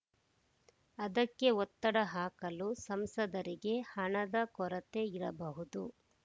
ಅದಕ್ಕೆ ಒತ್ತಡ ಹಾಕಲು ಸಂಸದರಿಗೆ ಹಣದ ಕೊರತೆ ಇರಬಹುದು